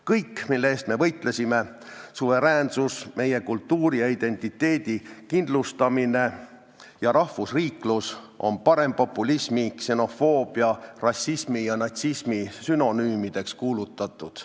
Kõik, mille eest me võitlesime – suveräänsus, meie kultuuri ja identiteedi kindlustamine ja rahvusriiklus – on parempopulismi, ksenofoobia, rassismi ja natsismi sünonüümideks kuulutatud.